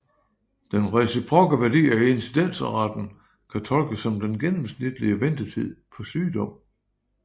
Den reciprokke værdi af incidensraten kan tolkes som den gennemsnitlige ventetid på sygdom